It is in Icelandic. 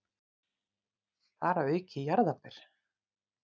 Þar að auki jarðarber.